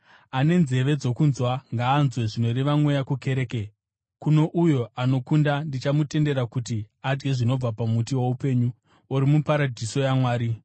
Ane nzeve dzokunzwa ngaanzwe zvinoreva Mweya kukereke. Kuno uyo anokunda, ndichamutendera kuti adye zvinobva pamuti woupenyu, uri muparadhiso yaMwari.